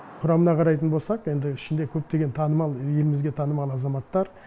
құрамына қарайтын болсақ енді ішінде көптеген танымал елімізге танымал азаматтар